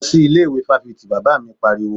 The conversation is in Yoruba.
Lọ sí ilé ìwé fáfitì! Bàbá mi pariwo.